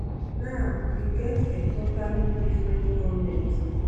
now you get a totally different goment